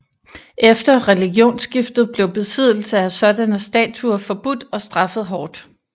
Efter religionsskiftet blev besiddelse af sådanne statuer forbudt og straffet hårdt